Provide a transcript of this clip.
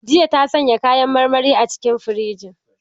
Jiya ta sanya kayan marmari a cikin firiji.